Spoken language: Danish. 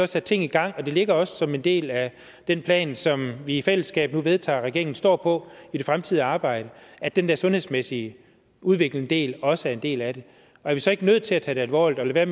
sat ting i gang og det ligger også som en del af den plan som vi i fællesskab nu vedtager at regeringen står på i det fremtidige arbejde at den der sundhedsmæssige udviklende del også er en del af det er vi så ikke nødt til at tage det alvorligt og lade